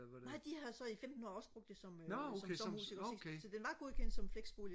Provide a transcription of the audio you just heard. nej de havde så i femten år også brugt det som øh som sommerhus ikke også ikke så den var godkendt som flexbolig